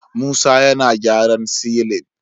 Musa yana gyaran silin